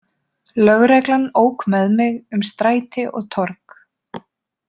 Lögreglan ók með mig um stræti og torg.